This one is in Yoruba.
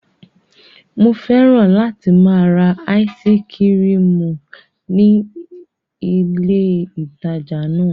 Mo fẹ́ràn láti máa ra áísí kirìmì ní ní ilé ìtajà náà.